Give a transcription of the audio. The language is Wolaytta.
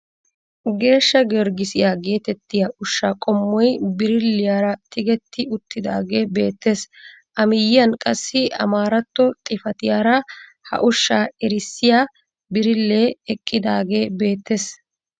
Geeshsha giyorgisiyaa getettiyaa ushshaa qommoy birilliyaara tigetti uttidagee beettees. A miyiyaan qassi amaaratto xifatiyaara ha ushshaa erissiyaa birillee eqqidaagee beettees.